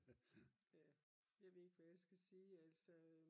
ja jeg ved ikke hvad jeg skal sige altså